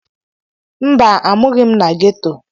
Mba, amughi m na gheto.